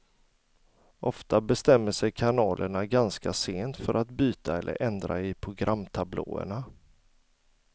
Ofta bestämmer sig kanalerna ganska sent för att byta eller ändra i programtablåerna.